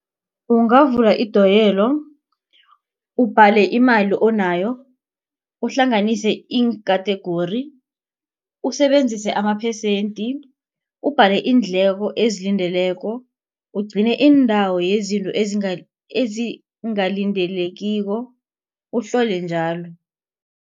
Ungavula idoyelo, ubhale imali onayo, uhlanganise ii-category. Usebenzise amaphesente, ubhale iindleko ezilandelako, ugcine iindawo yezinto ezingalindelekiko, uhlole njalo.